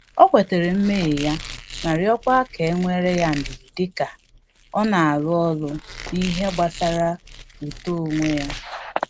Ọ kwetara mmehie ya ma rịọkwa ka e nwele ya ndidi dika ọ na-arụ ọrụ n’ihe gbasara uto onwe ya